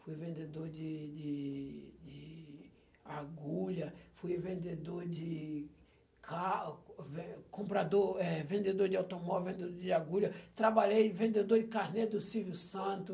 Fui vendedor de de de agulha, fui vendedor de car ven comprador, eh, vendedor de automóvel, vendedor de agulha, trabalhei vendedor de carnê do Silvio Santos.